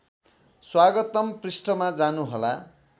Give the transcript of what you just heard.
स्वागतम पृष्ठमा जानुहोला